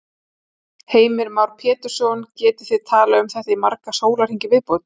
Heimir Már Pétursson: Getið þið talað um þetta í marga sólarhringa í viðbót?